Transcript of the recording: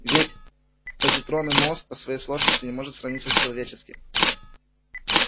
ведь позитронный мозг по своей сложности не может сравниться с человеческим